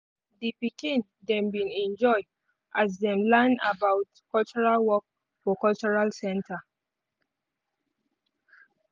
di pikin dem bin enjoy as them learn about cultural work for the cultural center.